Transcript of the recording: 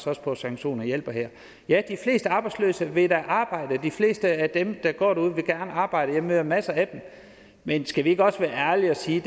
også på at sanktioner hjælper her ja de fleste arbejdsløse vil da arbejde de fleste af dem der går derude vil gerne arbejde jeg møder masser af dem men skal vi ikke også være ærlige og sige